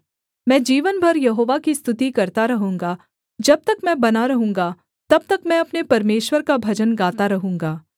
मैं जीवन भर यहोवा की स्तुति करता रहूँगा जब तक मैं बना रहूँगा तब तक मैं अपने परमेश्वर का भजन गाता रहूँगा